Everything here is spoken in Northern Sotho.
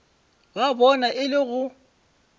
ba bona e le go